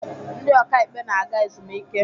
Ndị ọka ikpe na-aga ezumike.